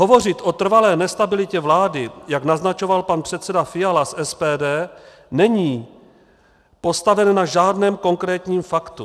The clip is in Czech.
Hovořit o trvalé nestabilitě vlády, jak naznačoval pan předseda Fiala z SPD, není postaveno na žádném konkrétním faktu.